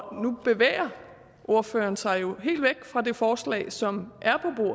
og nu bevæger ordføreren sig jo helt væk fra det forslag som er